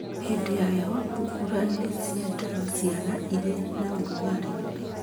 Hĩndĩ ya heho thungura nĩ ciendaga ciaga irĩ na ũrugarĩ.